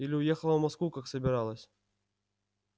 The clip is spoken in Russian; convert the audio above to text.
или уехала в москву как собиралась